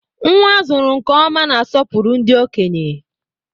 Nnwa a zụrụ nke ọma na-asopuru ndị okenye.